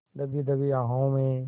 दबी दबी आहों में